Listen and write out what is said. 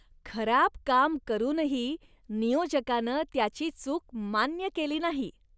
खराब काम करूनही नियोजकानं त्याची चूक मान्य केली नाही.